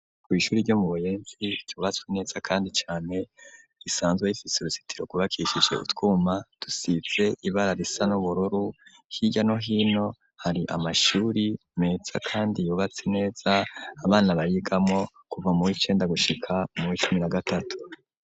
Kwishuri ryo mu Buyenzi ryubatswe neza kandi cane risanzwe rifitse uruzitiro kubakishije utwuma dusize ibara risa n'ubururu h'irya no hino hari amashuri metsa kandi yubatse neza abana bayigamo kuva muricenda gushika muri cumi na gatatu.